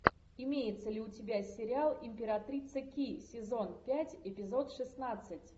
имеется ли у тебя сериал императрица ки сезон пять эпизод шестнадцать